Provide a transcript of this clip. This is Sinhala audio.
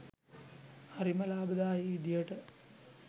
හරිම ලාභදායී විදිහට